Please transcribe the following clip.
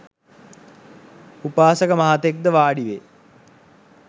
උපාසක මහතෙක් ද වාඩි වෙයි